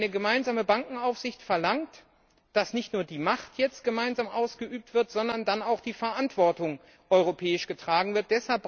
Eine gemeinsame Bankenaufsicht verlangt, dass nicht nur die Macht jetzt gemeinsam ausgeübt wird, sondern dann auch die Verantwortung europäisch getragen wird.